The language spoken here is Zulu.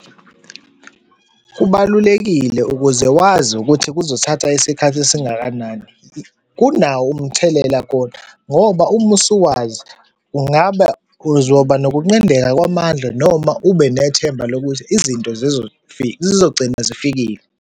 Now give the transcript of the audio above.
Kubalulekile ukuze wazi ukuthi kuzothatha isikhathi esingakanani. Kunawo umthelela kona ngoba uma usuwazi kungaba uzoba nokunqindeka kwamandla noma ubenethemba lokuthi izinto zizogcina zifikile.